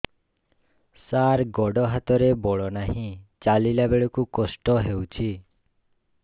ସାର ଗୋଡୋ ହାତରେ ବଳ ନାହିଁ ଚାଲିଲା ବେଳକୁ କଷ୍ଟ ହେଉଛି